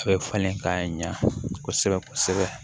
A bɛ falen k'a ɲɛ kosɛbɛ kosɛbɛ